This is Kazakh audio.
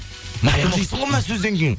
таяқ жейсің ғой мына сөзден кейін